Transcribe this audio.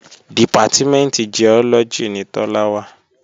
Dìpátímẹ̀ntì Giọ́lọ́gì ni Tọ́lá wà